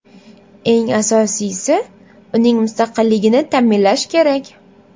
Eng asosiysi, uning mustaqilligini ta’minlash kerak.